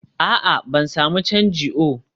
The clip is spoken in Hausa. a'a, ban sami canji oh